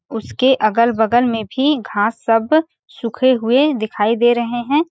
उसके अगल-बगल में भी घास सब सूखे हुए दिखाई दे रहे हैं ।